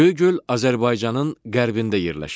Göygöl Azərbaycanın qərbində yerləşir.